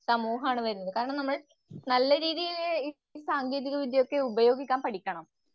സമൂഹമാണ് വരുന്നത്. നല്ല രീതിയിൽ ഈ സാങ്കേതികവിദ്യയൊക്കെ ഉപയോഗിക്കാൻ പഠിക്കണം.